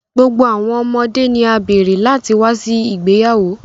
Gbogbo awọn ọmọde ni a beere lati wa si igbeyawo.